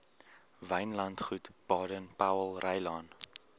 wynlandgoed baden powellrylaan